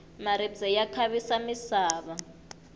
maribye ya khavisa misava